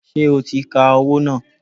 Ṣé o ti ka owó náà?